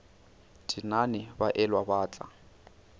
tenane ba elwa ba tla